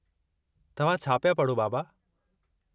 तव्हां छा पिया पढ़ो, बाबा?